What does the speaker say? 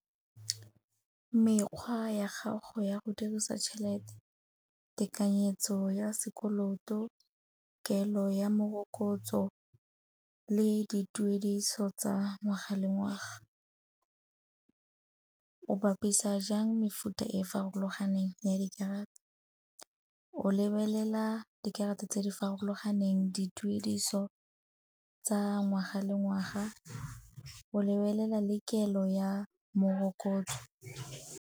Mekgwa ya gago ya go dirisa tšhelete, tekanyetso ya sekoloto, kelo ya morokotso le dituediso tsa ngwaga le ngwaga. O bapisa jang mefuta e farologaneng ya dikarata, o lebelela dikarata tse di farologaneng, dituediso tsa ngwaga le ngwaga, o lebelela le kelo ya morokotso.